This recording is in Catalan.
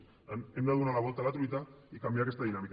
per tant hem de donar la volta a la truita i canviar aquesta dinàmica